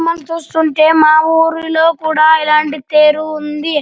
బొమ్మని చూస్తుంటే మా ఊరిలో కూడా ఇలాంటి తేరు ఉంది.